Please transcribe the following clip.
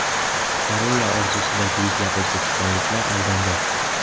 Koreya orzusidagi yuzlab o‘zbekistonliklar aldangan.